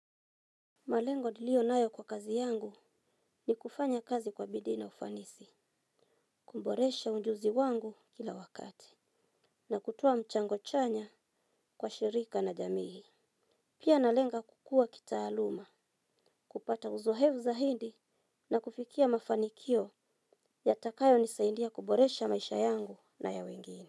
Malengo niliyo nayo kwa kazi yangu ni kufanya kazi kwa bidii na ufanisi, kuboresha ujuzi wangu kila wakati, na kutoa mchango chanya kwa shirika na jamii. Pia nalenga kukua kitaaluma, kupata uzoefu zaidi na kufikia mafanikio yatakayonisaidia kuboresha maisha yangu na ya wengine.